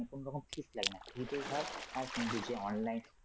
মানে কোনরকম fees লাগে না free তেই হয় আর কিন্তু যে online